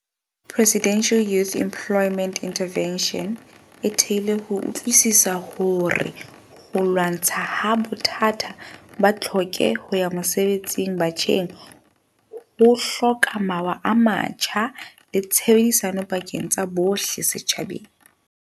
Presidential Youth Emplo yment Intervention e thehilwe ho utlwisiswa hore ho lwa ntshwaha bothata ba tlhoke ho ya mosebetsi batjheng ho hloka mawa a matjha le tshebedisano pakeng tsa bohle setjhabeng.